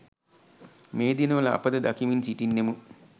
මේ දිනවල අප ද දකිමින් සිටින්නෙමු.